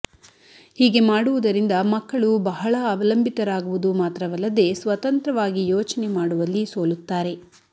ಹೀಗೆ ಮಾಡುವುದರಿಂದ ಮಕ್ಕಳು ಬಹಳ ಅವಲಂಬಿತರಾಗುವುದು ಮಾತ್ರವಲ್ಲದೆ ಸ್ವತಂತ್ರವಾಗಿ ಯೋಚನೆ ಮಾಡುವಲ್ಲಿ ಸೋಲುತ್ತಾರೆ